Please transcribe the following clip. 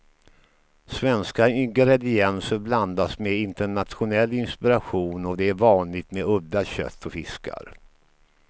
Svenska ingredienser blandas med internationell inspiration, och det är vanligt med udda kött och fiskar.